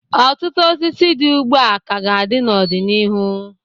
Ọtụtụ osisi dị ugbu a ka ga-adị n'ọdịnihu.